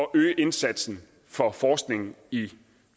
øge indsatsen for forskning i